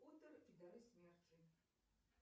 поттер и дары смерти